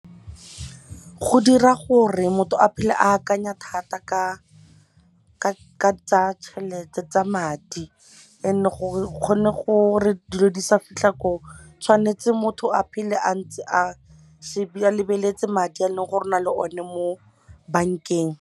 Go dira gore motho a phele a akanya thata ka tsaya tšhelete tsa madi and gore go kgone gore dilo di sa fitlha ko tshwanetse motho a phele a ntse a lebeletse madi e leng gore ona le one mo bank-eng.